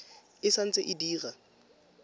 e sa ntse e dira